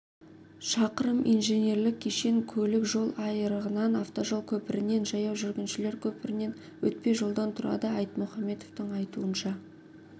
шақырым инженерлік кешен көлік жол айырығынан автожол көпірінен жаяу жүргіншілер көпірінен өтпежолдан тұрады айтмұхаметовтің айтуынша